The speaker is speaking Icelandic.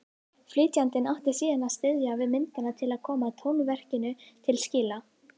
Flytjandinn átti síðan að styðjast við myndina til að koma tónverkinu til skila.